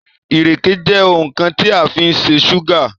ireke je oun kan ti a fin se súgà